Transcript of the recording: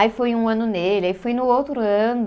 Aí foi um ano nele, aí foi no outro ano.